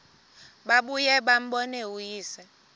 babuye bambone uyise